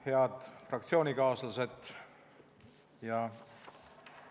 Head fraktsioonikaaslased!